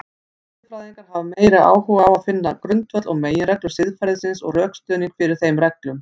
Siðfræðingar hafa meiri áhuga á finna grundvöll og meginreglur siðferðisins og rökstuðning fyrir þeim reglum.